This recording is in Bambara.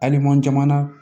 Hali n'an jamana